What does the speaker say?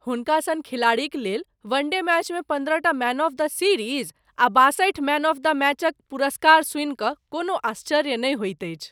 हुनका सन खिलाड़ीक लेल वनडे मैचमे पन्द्रहटा मैन ऑफ द सीरीज आ बासठिटा मैन ऑफ द मैचक पुरस्कार सुनि कऽ कोनो आश्चर्य नहि होइत अछि।